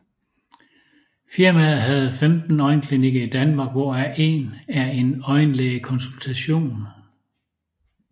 Firmaet har 15 øjenklinikker i Danmark hvor af en er en øjenlægekonsultation